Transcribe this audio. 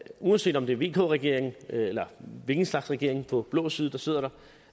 uanset om det er vk regeringen eller hvilken slags regering på blå side der sidder der